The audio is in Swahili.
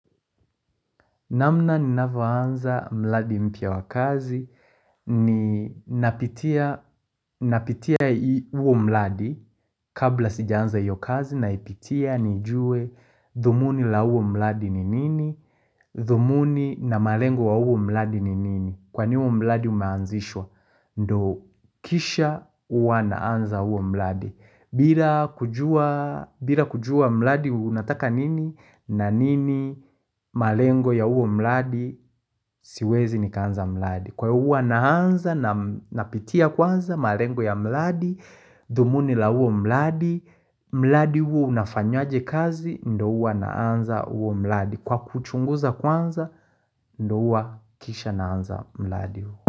Namna ninavyoanza mladi mpya wa kazi, ni napitia huo mladi kabla sijaanza iyo kazi na ipitia ni juwe dhumuni la huo mladi ni nini, dhumuni na malengo wa huo mladi ni nini Kwa nini huo mladi umeanzishwa, ndo kisha huwa naanza huo mladi bila kujua mladi unataka nini na nini malengo ya huo mladi, siwezi nikaanza mladi Kwa huwa naanza napitia kwanza malengo ya mladi, dhumuni la huo mladi, mladi huwa unafanywaje kazi, ndo huwa naanza huo mladi Kwa kuchunguza kwanza, ndo huwa kisha naanza mladi uwa.